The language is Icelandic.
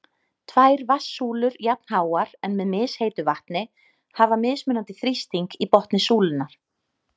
Tvær vatnssúlur jafnháar, en með misheitu vatni, hafa mismunandi þrýsting í botni súlunnar.